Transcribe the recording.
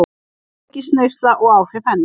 Áfengisneysla og áhrif hennar.